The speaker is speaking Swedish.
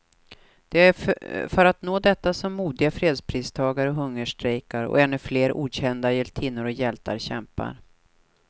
Det är för att nå detta som modiga fredspristagare hungerstrejkar, och ännu flera okända hjältinnor och hjältar kämpar.